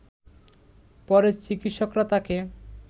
পরে চিকিৎসকরা তাকে